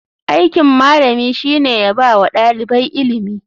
Aikin malami shine yabawa ɗalibai ilimi.